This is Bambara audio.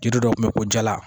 Jiri dɔ kun bɛ ko jala